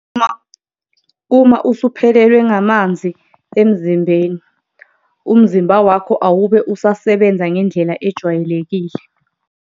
Uma usuphelelwe ngamanzi emzimbeni, umzimba wakho awube usasebenza ngendlela ejwayelekile.